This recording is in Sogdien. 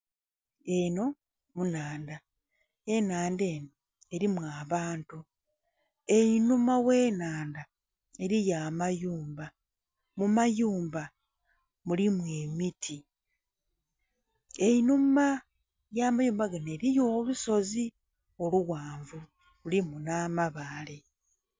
Enho nhandha, enhandha enho elimu abantu. Einhuma gh'enhandha eliyo amayumba, mu mayumba mulimu emiti. Einhuma y'amayumba ganho eliyo olusozi olughanvu lulimu nh'amabaale